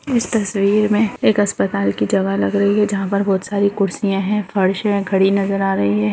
इस तस्वीर में एक अस्पताल की जवा लग रही है जहाँ पर बहुत सारी कुर्सियां है फर्श है घड़ी नजर आ रही है |